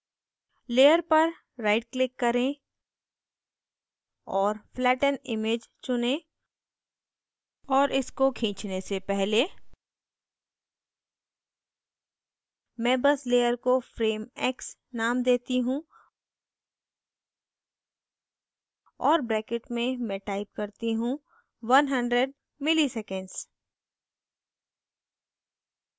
layer पर right click करें और flatten image चुनें और इसको खींचने से पहले मैं बस layer को frame x नाम देती हूँ और bracket में मैं type करती हूँ 100 milliseconds